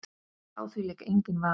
Á því lék enginn vafi.